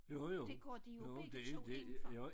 Jo jo. Jo det det jo